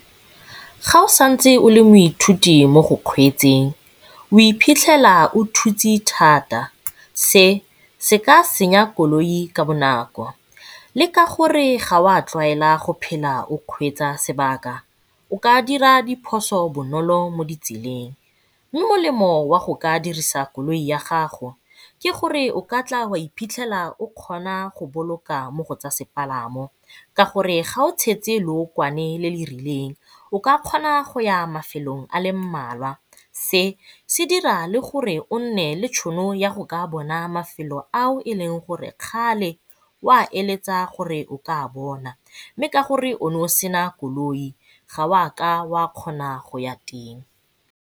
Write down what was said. Ga o santse o le moithuti mo go kgweetseng o iphitlhela o thutse thata, se se ka senya koloi ka bonako. Le ka gore ga wa tlwaela go phela o kgweetsa lobaka o ka dira diphoso bonolo mo ditseleng. Mme molemo wa go ka dirisa koloi ya gago ke gore o ka tla wa iphitlhela o kgona go boloka mo go tsa sepalamo ka gore ga o tshetse lookwane le le rileng o ka kgona go ya mafelong a mmalwa, se se dira le gore o nne le tšhono ya gore o ka bona mafelo ao e leng gore kgale o a eletsa gore o ka a bona mme ka gore o ne o sena koloi ga wa ka wa kgona go ya teng.